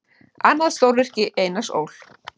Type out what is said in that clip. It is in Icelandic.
Annað stórvirki Einars Ól.